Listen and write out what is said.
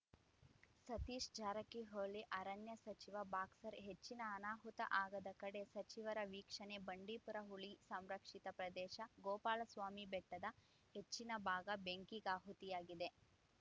ಸತೀಶ್‌ ಜಾರಕಿಹೊಳಿ ಅರಣ್ಯ ಸಚಿವ ಬಾಕ್ಸರ್ ಹೆಚ್ಚಿನ ಅನಾಹುತ ಆಗದ ಕಡೆ ಸಚಿವರ ವೀಕ್ಷಣೆ ಬಂಡೀಪುರ ಹುಲಿ ಸಂರಕ್ಷಿತ ಪ್ರದೇಶ ಗೋಪಾಲಸ್ವಾಮಿ ಬೆಟ್ಟದ ಹೆಚ್ಚಿನ ಭಾಗ ಬೆಂಕಿಗಾಹುತಿಯಾಗಿದೆ